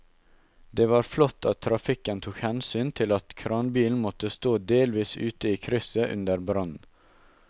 Det var flott at trafikken tok hensyn til at kranbilen måtte stå delvis ute i krysset under brannen.